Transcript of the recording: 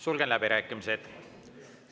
Sulgen läbirääkimised.